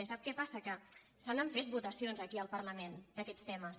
i sap què passa que se n’han fet de votacions aquí al parlament d’aquests temes